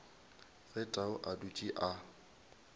ge tau a dutše a